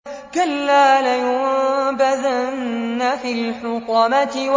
كَلَّا ۖ لَيُنبَذَنَّ فِي الْحُطَمَةِ